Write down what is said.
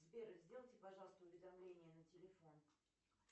сбер сделайте пожалуйста уведомление на телефон